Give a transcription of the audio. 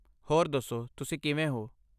ਹੋਰ ਦੱਸੋ, ਤੁਸੀਂ ਕਿਵੇਂ ਹੋ?